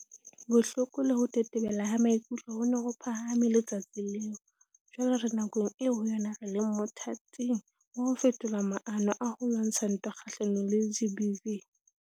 Bohloko le ho tetebela ha maikutlo ho ne ho phahame le-tsatsing leo. Jwale re nakong eo ho yona re leng mothating wa ho fetola maano a ho lwantsha ntwa kga-hlanong le GBVF.